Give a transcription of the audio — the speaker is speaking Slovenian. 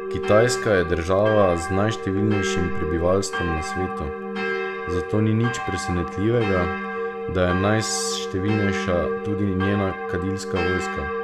Kitajska je država z najštevilnejšim prebivalstvom na svetu, zato ni nič presenetljivega, da je najštevilnejša tudi njena kadilska vojska.